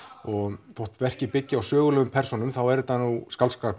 og þótt verkið byggi á sögulegum persónum þá er þetta nú skáldskapur